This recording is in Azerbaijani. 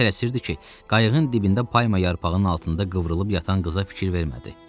Elə tələsirdi ki, qayığın dibində payma yarpağının altında qıvrılıb yatan qıza fikir vermədi.